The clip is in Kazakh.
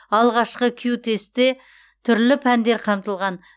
алғашқы кю тестте түрлі пәндер қамтылған